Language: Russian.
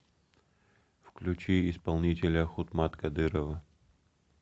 включи исполнителя хутмат кадырова